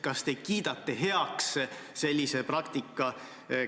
Kas te kiidate sellise praktika heaks?